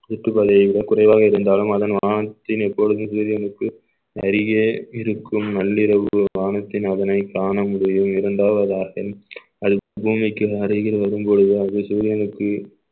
சுற்றுப்பதை விட குறைவாக இருந்தாலும் அதனால்தான் இப்பொழுது மீது இருக்கு அறிய இருக்கும் நள்ளிரவு வானத்தின் அதனை காணமுடியும் இரண்டாவதாக பூமிக்கு அருகில் வரும் பொழுது அது சூரியனுக்கு